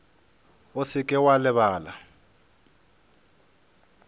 o se ke wa lebala